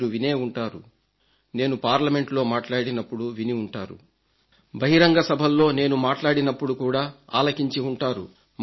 మీరు వినే ఉంటారు నేను పార్లమెంట్ లో మాట్లాడినప్పుడు విని ఉంటారు బహిరంగ సభల్లో నేను మాట్లాడినప్పుడు కూడా ఆలకించి ఉంటారు